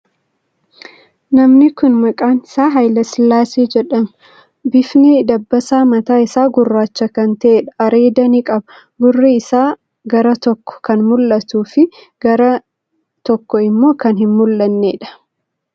Namni kuni maqaan isaa Hayila Sillaasee jedhama. Bifni dabbasaa mataa isaa gurraacha kan ta'eedha. Areeda ni qaba. Gurri isaa gara tokkoo, kan mul'atuu fi kan gara tokkoo immoo kan hin mul'anneedha.